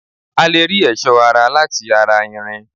A lè rí ẹ̀sọ́ ara láti ara irin